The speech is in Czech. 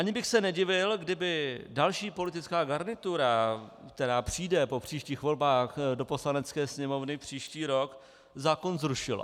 Ani bych se nedivil, kdyby další politická garnitura, která přijde po příštích volbách do Poslanecké sněmovny příští rok, zákon zrušila.